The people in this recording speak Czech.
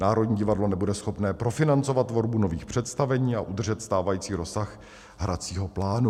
Národní divadlo nebude schopno profinancovat tvorbu nových představení a udržet stávající rozsah hracího plánu.